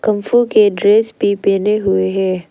Kung fu के dress भी पहने हुए है।